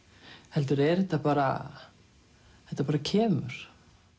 heldur er þetta bara þetta bara kemur